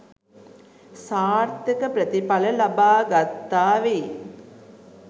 සාර්ථක ප්‍රතිඵල ලබා ගත්තා වෙයි.